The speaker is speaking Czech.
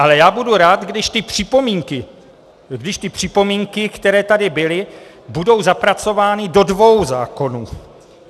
Ale já budu rád, když ty připomínky, které tady byly, budou zapracovány do dvou zákonů.